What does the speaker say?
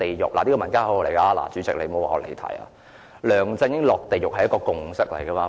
主席，這是民間的口號，請不要說我離題，"梁振英落地獄"是一個共識。